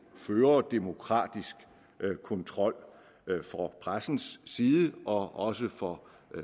føre demokratisk kontrol fra pressens side og også fra